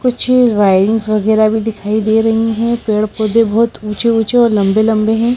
कुछ वाइंस वैगैरह भी दिखाई दे रही हैं। पेड़ पौधे बहोत ऊंचे ऊंचे और लंबे लंबे हैं।